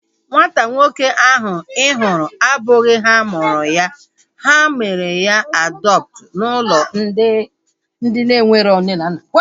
Nwata nwoke ahu ị hụrụ abụghị ha mụrụ ya. Ha mere ya adọptu n'ụlọ ndị enwero nne na nna